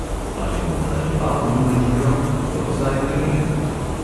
Ali bo nadaljeval njuno igro ali pa bo zdaj prenehal?